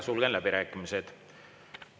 Sulgen läbirääkimised.